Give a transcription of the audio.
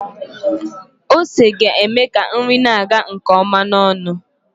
Ose ga-eme ka nri na-aga nke ọma n'ọnụ